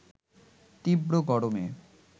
তীব্র গরমে